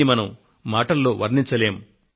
దీనిని మనం మాటలలో చెప్పలేము